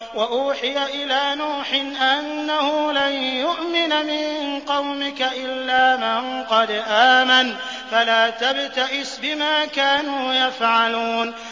وَأُوحِيَ إِلَىٰ نُوحٍ أَنَّهُ لَن يُؤْمِنَ مِن قَوْمِكَ إِلَّا مَن قَدْ آمَنَ فَلَا تَبْتَئِسْ بِمَا كَانُوا يَفْعَلُونَ